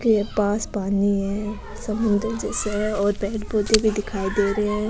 के पास पानी है समुद्र जैसे है और पेड़ पौधे दिखाई दे रे है।